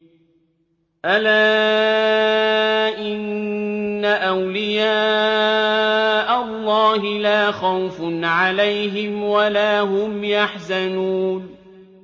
أَلَا إِنَّ أَوْلِيَاءَ اللَّهِ لَا خَوْفٌ عَلَيْهِمْ وَلَا هُمْ يَحْزَنُونَ